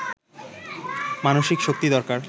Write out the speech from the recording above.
মানসিক শক্তি দরকার